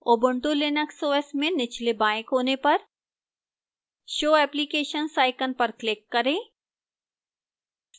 ubuntu linux os में निचले बाएं कोने पर show applications icon पर click करें